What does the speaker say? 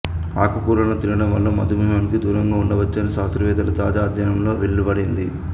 ఆకుకూరలను తినడం వల్ల మధుమేహానికి దూరంగా ఉండవచ్చని శాస్త్రవేత్తల తాజా అధ్యయనంలో వెల్లడైంది